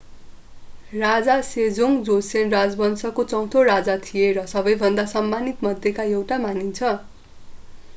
राजा Sejong Joseon राजवंशको चौँथो राजा थिए र सबैभन्दा सम्मानित मध्येको एउटा मानिन्छ